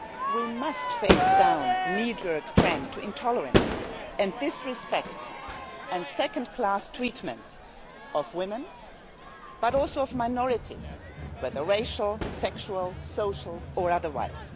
We must face down the knee jerk trend to intolerance, disrespect and second class treatment of women, but also of minorities, whether racial, sexual, social or otherwise.